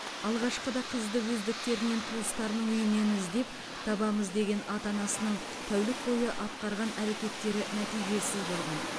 алғашқыда қызды өздіктерінен туыстарының үйінен іздеп табамыз деген ата анасының тәулік бойы атқарған әрекеттері нәтижесіз болған